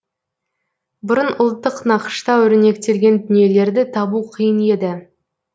бұрын ұлттық нақышта өрнектелген дүниелерді табу қиын еді